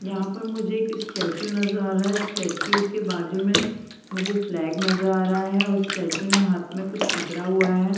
यहाँ पर मुझे एक स्टेचू नजर आ रहा है स्टेचू के बाजु में मुझे फ्लैग नजर आ रहा है और स्टेचू ने हाथ में कुछ पकड़ा हुआ है।